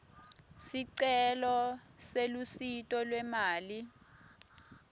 sicelo selusito lwemali